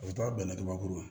U bɛ taa bɛnɛ kabakuru